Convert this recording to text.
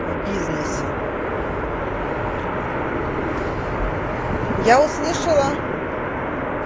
в бизнесе я услышала